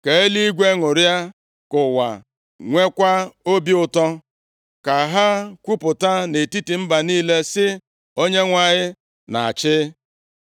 Ka eluigwe ṅụrịa, ka ụwa nwekwa obi ụtọ; ka ha kwupụta nʼetiti mba niile sị, “ Onyenwe anyị na-achị.”